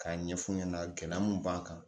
K'a ɲɛf'u ɲɛna gɛlɛya mun b'an kan